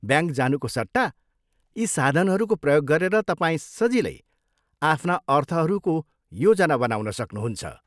Bank जानुको सट्टा यी साधनहरूको प्रयोग गरेर तपाईँ सजिलै आफ्ना अर्थहरूको योजना बनाउन सक्नुहुन्छ।